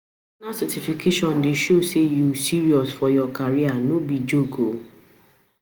Professional certification dey show say you serious for your career, no be joke.